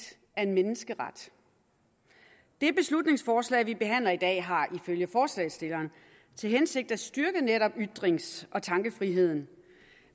er en menneskeret det beslutningsforslag vi behandler i dag har ifølge forslagsstilleren til hensigt at styrke netop ytrings og tankefriheden